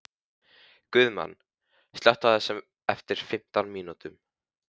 Guðmann, slökktu á þessu eftir fimmtán mínútur.